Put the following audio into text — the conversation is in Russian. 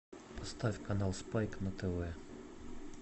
поставь канал спайк на тв